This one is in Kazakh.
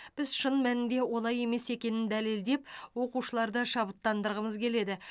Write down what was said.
біз шын мәнінде олай емес екенін дәлелдеп оқушыларды шабыттандырғымыз келеді